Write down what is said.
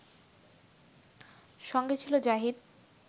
সঙ্গে ছিল জাহিদ